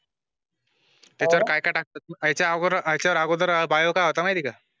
हितरकाय काय टाकता आगोदर बायो चा माहिती आहॆ का